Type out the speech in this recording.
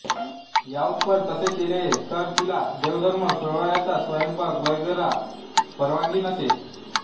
याउप्पर तसे केले नाही तर तिला देवधर्म सोवळ्यातला स्वयंपाक वगैरेला परवानगी नसे